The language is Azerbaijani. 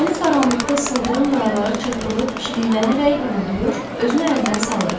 Dəniz qaranlıqda sıldırım qayalara çırpılıb, çiliklənərək uğuldayır, özünü əldən salırdı.